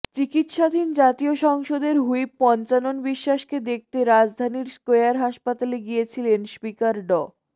চিকিৎসাধীন জাতীয় সংসদের হুইপ পঞ্চানন বিশ্বাসকে দেখতে রাজধানীর স্কয়ার হাসপাতালে গিয়েছিলেন স্পিকার ড